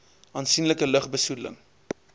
aansienlike lug besoedeling